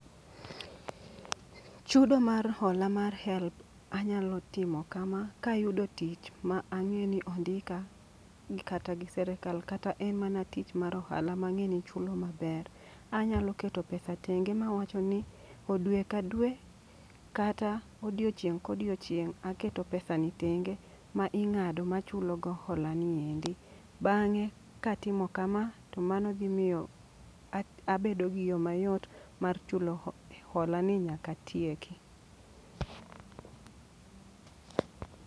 Chudo mar hola mar HELB anyalo timo kama: kayudo tich mang'e ni ondika gi kata gi serikal. Kata en mana tich mar ohala ma ang'e ni ichulo maber, anyalo keto pesa tenge mawacho ni o dwe ka dwe kata odiochieng' kodiochieng' aketo pesa ni tenge. Ma ing'ado ma chulo go hola ni endi. Bang'e katimo kama to mano dhi miyo abedo gi yo mayot mar chulo hola ni nyaka atieki.